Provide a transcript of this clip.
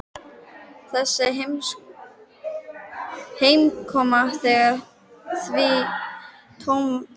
Þessi heimkoma hennar því tómt rugl.